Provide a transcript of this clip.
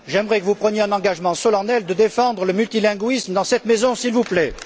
J'aimerais que vous preniez l'engagement solennel de défendre le multilinguisme dans cette maison, s'il vous plaît.